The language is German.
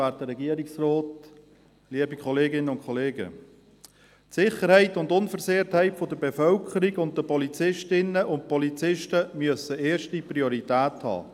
Die Sicherheit und die Unversehrtheit der Bevölkerung sowie der Polizisten und Polizistinnen müssen erste Priorität haben.